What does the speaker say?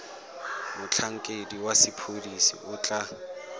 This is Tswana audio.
motlhankedi wa sepodisi o tla